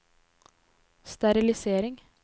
sterilisering